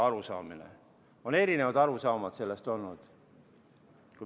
On olnud erinevad arusaamad.